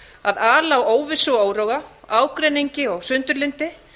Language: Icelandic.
að ala á óvissu og óróa ágreiningi og sundurlyndi